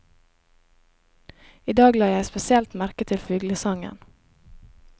I dag la jeg spesielt merke til fuglesangen.